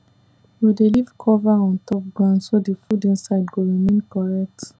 we dey leave cover on top ground so the food inside go remain correct